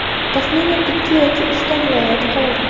Taxminan ikki yoki uchta viloyat qoldi.